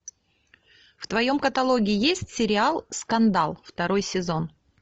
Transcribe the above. в твоем каталоге есть сериал скандал второй сезон